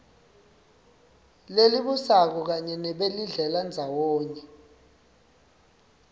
lelibusako kanye nabelidlelandzawonye